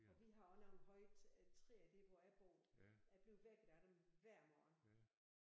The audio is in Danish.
Og vi har også nogle høje træer der hvor jeg bor jeg bliver vækket af dem hver morgen